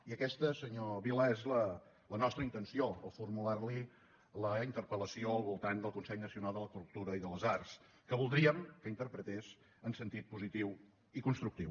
i aquesta senyor vila és la nostra intenció al formular li la interpel·lació al voltant del consell nacional de la cultura i de les arts que voldríem que interpretés en sentit positiu i constructiu